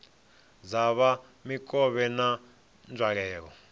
dza kha mikovhe na nzwalelo